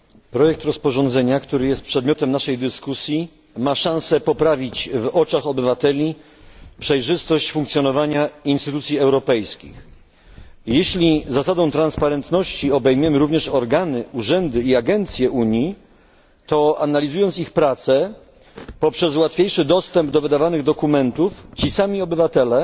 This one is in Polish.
Projekt rozporządzenia, który jest przedmiotem naszej dyskusji, ma szansę poprawić w oczach obywateli przejrzystość funkcjonowania instytucji europejskich. Jeśli zasadą transparentności obejmiemy również organy, urzędy i agencje Unii, to, analizując ich pracę, poprzez łatwiejszy dostęp do wydawanych dokumentów, sami obywatele